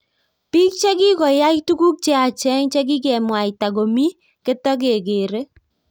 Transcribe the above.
Bik chikikoyay tugug che yachen chikikemwata komi ketigegere.